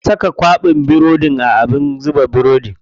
Na saka kwaɓin burodin a abin gasa burodi.